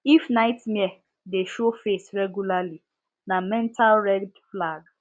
if nightmare dey show face regularly na mental red flag